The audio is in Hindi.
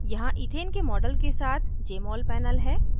यहाँ इथेन के model के साथ jmol panel है